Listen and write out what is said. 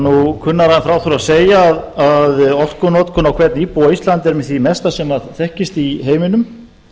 nú kunnara en frá þurfi að segja að orkunotkun á hvern íbúa á íslandi er með því mesta sem þekkist í heiminum